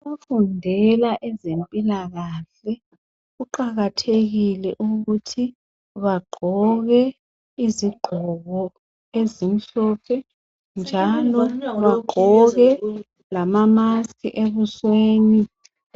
Abafundela ezempilakahle kuqakathekile ukuthi bagqoke izigqoko ezimhlophe njalo bagqoke lama mask ebusweni